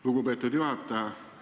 Lugupeetud juhataja!